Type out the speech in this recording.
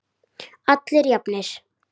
Allir jafnir.